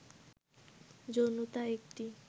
যৌনতা একটি